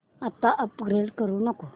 आता अपग्रेड करू नको